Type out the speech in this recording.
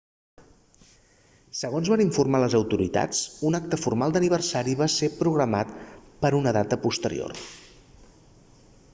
segons van informar les autoritats un acte formal d'aniversari va ser programat per a una data posterior